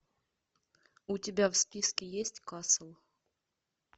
у тебя в списке есть касл